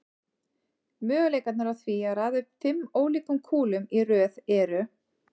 Möguleikarnir á því að raða upp fimm ólíkum kúlum í röð eru